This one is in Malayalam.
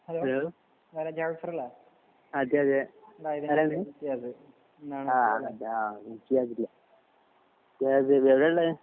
ഹലോ അതെ അതെ എങ്ങനെ ഉണ്ട്? ഓഹ് സുഖായി ഇരിക്കുന്നു. എവിടെ സ്കൂളിൽ ആണല്ലേ കോളേജിൽ.